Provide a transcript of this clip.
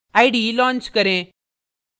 ide launch करें